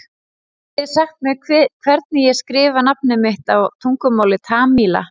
Getið þið sagt mér hvernig ég skrifa nafnið mitt á tungumáli Tamíla?